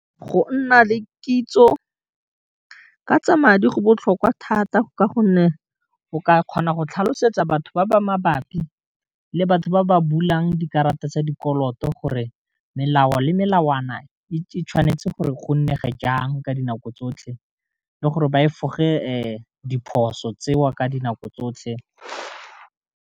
Go nna le kitso ka tsa madi go botlhokwa thata ka gonne o ka kgona go tlhalosetsa batho ba ba mabapi le batho ba ba bulang dikarata tsa dikoloto, gore melao le melawana e tshwanetse gore go nne ge jang ka dinako tsotlhe, le gore ba e foge diphoso tseo ka dinako tsotlhe.